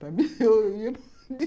Para mim